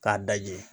K'a dajɛ